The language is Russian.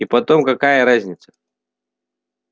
и потом какая разница